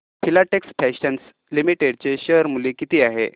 Filatex Fashions Limited चे share मूल्य किती आहे